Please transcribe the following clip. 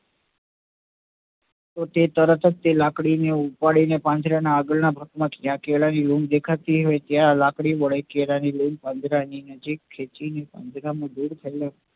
તો તે તરત જ લાકડી ઉપાડી ને પાંજરા ના આગળ ના ભાગ જ્યાં કેળા ની લૂમ દેખાતી હોય તો તેને લાકડી વડે તે કેળા ની લૂમ ખેંચી લે છે